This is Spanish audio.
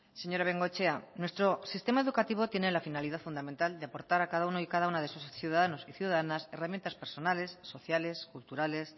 señora bengoechea nuestro sistema educativo tiene la finalidad fundamental de aportar a cada uno y cada una de sus ciudadanos y ciudadanas herramientas personales sociales culturales